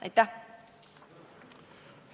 Aitäh!